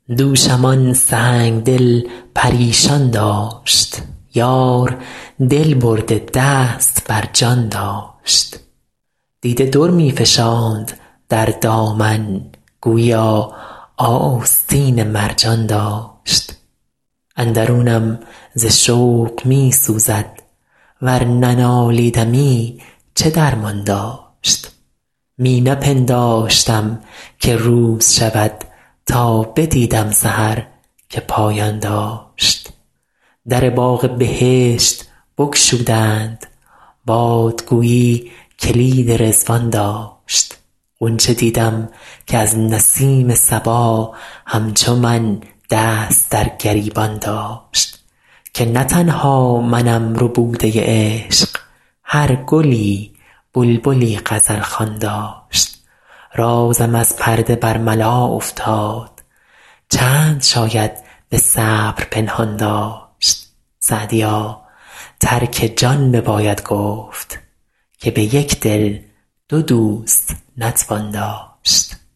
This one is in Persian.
دوشم آن سنگ دل پریشان داشت یار دل برده دست بر جان داشت دیده در می فشاند در دامن گوییا آستین مرجان داشت اندرونم ز شوق می سوزد ور ننالیدمی چه درمان داشت می نپنداشتم که روز شود تا بدیدم سحر که پایان داشت در باغ بهشت بگشودند باد گویی کلید رضوان داشت غنچه دیدم که از نسیم صبا همچو من دست در گریبان داشت که نه تنها منم ربوده عشق هر گلی بلبلی غزل خوان داشت رازم از پرده برملا افتاد چند شاید به صبر پنهان داشت سعدیا ترک جان بباید گفت که به یک دل دو دوست نتوان داشت